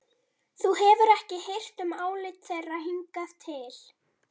Þú hefur ekki hirt um álit þeirra hingað til.